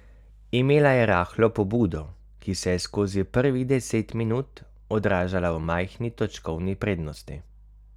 Imela je rahlo pobudo, ki se je skozi prvih deset minut odražala v majhni točkovni prednosti.